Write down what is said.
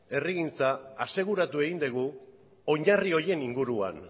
herrigintza aseguratu egin dugu oinarri honen inguruan